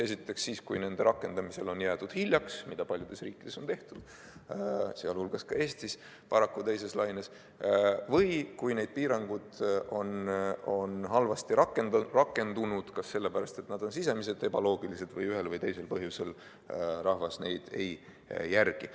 Esiteks siis, kui nende rakendamisel on jäädud hiljaks – mis paljudes riikides on juhtunud, sealhulgas paraku ka Eestis teises laines, või kui need piirangud on halvasti rakendunud – kas sellepärast, et need on sisemiselt ebaloogilised või ühel või teisel põhjusel rahvas neid ei järgi.